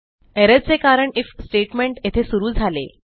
error चे कारण IF statement येथे सुरू झाले